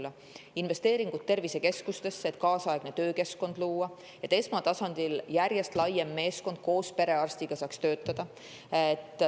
investeeringuid tervisekeskustesse, et kaasaegne töökeskkond luua ja et esmatasandil saaks järjest suurem meeskond koos perearstiga töötada.